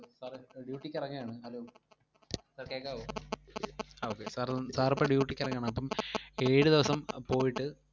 Sir duty ക്ക് ഇറങ്ങയാണ്. Hello, sir കേക്കാവോ അഹ് okay, sir sir ഇപ്പോ duty ക്ക് ഇറങ്ങയാണ്, അപ്പം ഏഴ് ദിവസം പോയിട്ട്